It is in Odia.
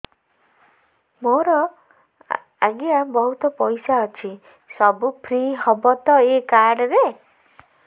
ମୋର ଆଜ୍ଞା ବହୁତ ପଇସା ଅଛି ସବୁ ଫ୍ରି ହବ ତ ଏ କାର୍ଡ ରେ